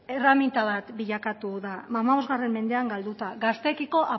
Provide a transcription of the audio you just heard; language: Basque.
erreminta bat bilakatu da hamabost mendean galduta gazteekiko